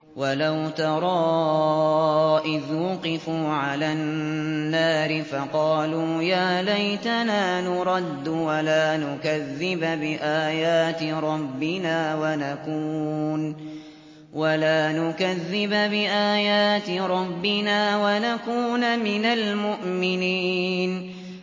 وَلَوْ تَرَىٰ إِذْ وُقِفُوا عَلَى النَّارِ فَقَالُوا يَا لَيْتَنَا نُرَدُّ وَلَا نُكَذِّبَ بِآيَاتِ رَبِّنَا وَنَكُونَ مِنَ الْمُؤْمِنِينَ